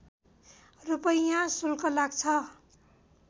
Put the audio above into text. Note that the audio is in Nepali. रूपैयाँ शुल्क लाग्छ